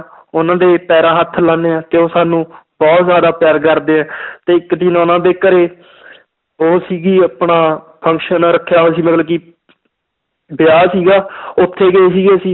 ਉਹਨਾਂ ਦੇ ਪੈਰਾਂ ਹੱਥ ਲਾਉਂਦੇ ਹਾਂ ਤੇ ਉਹ ਸਾਨੂੰ ਬਹੁਤ ਜ਼ਿਆਦਾ ਪਿਆਰ ਕਰਦੇ ਹੈ ਤੇ ਇੱਕ ਦਿਨ ਉਹਨਾਂ ਦੇ ਘਰੇ ਉਹ ਸੀਗੀ ਆਪਣਾ function ਰੱਖਿਆ ਹੋਇਆ ਸੀ ਮਤਲਬ ਕਿ ਵਿਆਹ ਸੀਗਾ ਉੱਥੇ ਗਏ ਸੀਗੇ ਅਸੀਂ